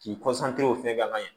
K'i fɛ ka ɲɛ